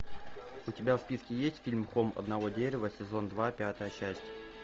у тебя в списке есть фильм холм одного дерева сезон два пятая часть